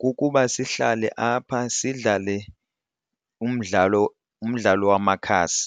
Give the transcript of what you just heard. kukuba sihlale apha sidlale umdlalo umdlalo wamakhasi.